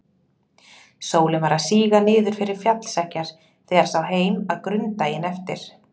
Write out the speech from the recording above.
Sólin var að síga niður fyrir fjallseggjar þegar sá heim að Grund daginn eftir.